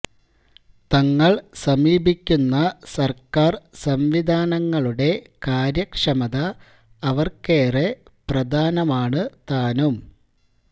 തങ്ങള് സമീപിക്കുന്ന സര്ക്കാര് സംവിധാനങ്ങളുടെ കാര്യക്ഷമത അവര്ക്കേറെ പ്രധാനമാണ് താനും